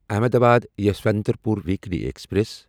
Ahmedabad Yesvantpur weekly express